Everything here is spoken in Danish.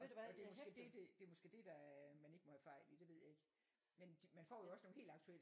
Og det er måske det det det er måske det man ikke må havde fejl i det ved jeg ikke men man får også nogle helt aktuelle